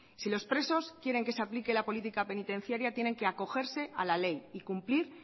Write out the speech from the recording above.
si los presos quieren que se aplique la política penitenciaria tienen que acogerse a la ley y cumplir